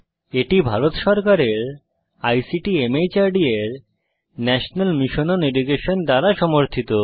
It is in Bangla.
এটি ভারত সরকারের আইসিটি মাহর্দ এর ন্যাশনাল মিশন ওন এডুকেশন দ্বারা সমর্থিত